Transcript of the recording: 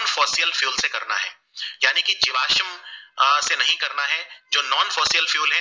से नही करना है जो non fossil fuels है